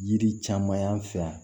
Yiri caman y'an fɛ yan